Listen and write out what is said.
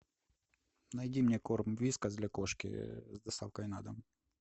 найди мне корм вискас для кошки с доставкой на дом